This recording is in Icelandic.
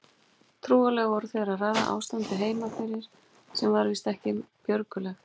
Trúlega voru þeir að ræða ástandið heima fyrir sem var víst ekki björgulegt.